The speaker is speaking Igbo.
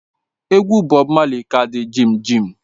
Egwu Bob Marley ka di jimjim